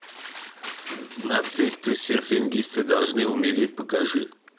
нацисты серфингисты должны умереть покажи